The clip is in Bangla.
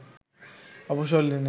অবসর নেন